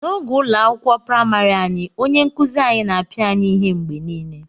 N'oge ụlọ akwụkwọ praịmarị anyị, onye nkuzi anyị na-apịa anyị ihe mgbe niile